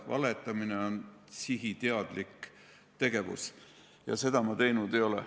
Valetamine on sihiteadlik tegevus ja seda ma teinud ei ole.